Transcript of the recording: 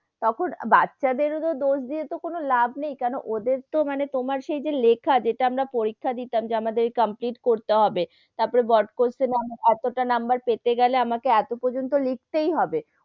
তখন, বাচ্চা দেরও তো দোষ দিয়ে কোনো লাভ নেই কেনো, ওদের তো সেই যে মানে লেখা যেটা আমরা পরীক্ষা দিতাম যেটা আমাদের complete করতে হবে তার পরে বড় question এ এতটা number পেতে গেলে, আমাকে এতো পর্যন্ত লিখতে হবে,